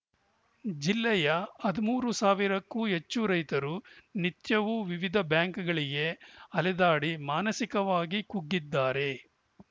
ಜಿಲ್ಲೆಯ ಹದಿಮೂರು ಸಾವಿರಕ್ಕೂ ಹೆಚ್ಚು ರೈತರು ನಿತ್ಯವೂ ವಿವಿಧ ಬ್ಯಾಂಕ್‌ಗಳಿಗೆ ಅಲೆದಾಡಿ ಮಾನಸಿಕವಾಗಿ ಕುಗ್ಗಿದ್ದಾರೆ